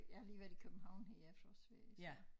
Jeg har lige været i København i efterårsferie så